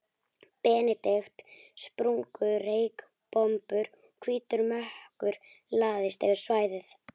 Benedikt, sprungu reykbombur og hvítur mökkur lagðist yfir svæðið.